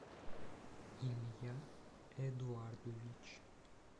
илья эдуардович